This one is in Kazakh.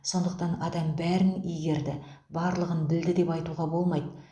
сондықтан адам бәрін игерді барлығын білді деп айтуға болмайды